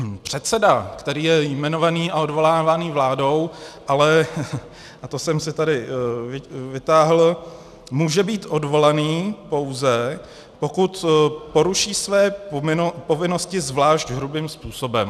Předseda, který je jmenovaný a odvolávaný vládou, ale, a to jsem si tady vytáhl, může být odvolán, pouze pokud poruší své povinnosti zvlášť hrubým způsobem.